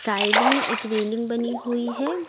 Side में एक railing बनी हुई है।